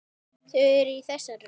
Þau eru í þessari röð